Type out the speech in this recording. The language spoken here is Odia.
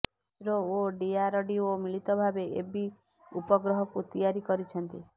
ଇସ୍ରୋ ଓ ଡିଆରଡିଓ ମିଳିତ ଭାବେ ଏବି ଉପଗ୍ରହକୁ ତିଆରି କରିଛନ୍ତି